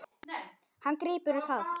Hann grípur það.